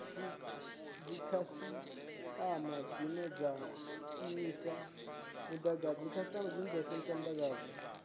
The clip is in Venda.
dzikhasitama dzine dza shumisa mudagasi